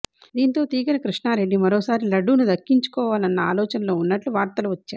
దీంతో తీగల కృష్ణారెడ్డి మరోసారి లడ్డూను దక్కించుకోవాలన్న ఆలోచనలో ఉన్నట్లు వార్తలు వచ్చాయి